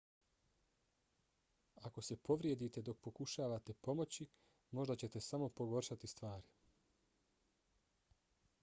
ako se povrijedite dok pokušavate pomoći možda ćete samo pogoršati stvari